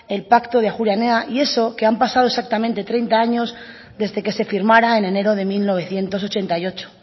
el pacto de ajuria enea y eso que han pasado exactamente treinta años desde que se firmara en enero de mil novecientos ochenta y ocho